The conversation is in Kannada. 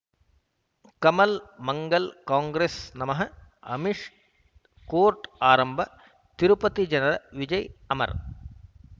ಕಮಲ್ ಮಂಗಳ್ ಕಾಂಗ್ರೆಸ್ ನಮಃ ಅಮಿಷ್ ಕೋರ್ಟ್ ಆರಂಭ ತಿರುಪತಿ ಜನರ ವಿಜಯ್ ಅಮರ್